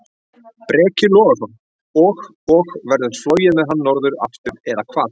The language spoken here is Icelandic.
Breki Logason: Og, og verður flogið með hann norður aftur, eða hvað?